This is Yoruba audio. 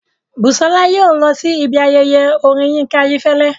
Bùsọ́lá yóò lọ sí ibi ayẹyẹ orin Yínká Ayéfẹ́lẹ́